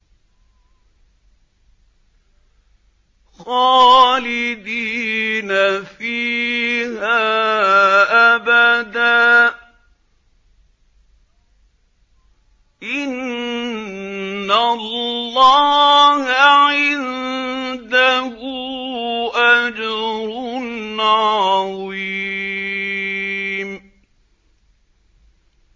خَالِدِينَ فِيهَا أَبَدًا ۚ إِنَّ اللَّهَ عِندَهُ أَجْرٌ عَظِيمٌ